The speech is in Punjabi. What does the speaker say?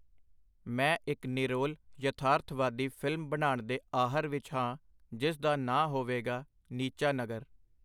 ਮੈਂ ਇਕ ਨਿਰੋਲ ਯਥਾਰਥਵਾਦੀ ਫਿਲਮ ਬਨਾਣ ਦੇ ਆਹਰ ਵਿਚ ਹਾਂ, ਜਿਸ ਦਾ ਨਾਂ ਹੋਵੇਗਾ, ਨੀਚਾ ਨਗਰ.